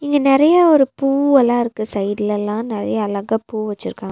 இங்க நெறைய ஒரு பூவெலாருக்கு சைட்லல்லா நெறைய அழகா பூ வெச்சிருகா--